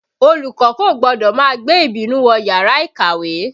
Olùkọ́ kò gbọ́dọ̀ má gbé ìbínú wọ yàrá ìkàwé